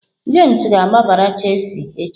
James ga-agbara Chealsea echi.